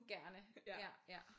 Gerne ja ja